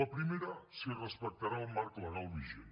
la primera si respectarà el marc legal vigent